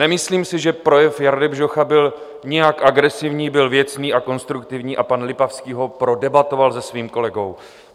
Nemyslím si, že projev Jardy Bžocha byl nějak agresivní, byl věcný a konstruktivní a pan Lipavský ho prodebatoval se svým kolegou.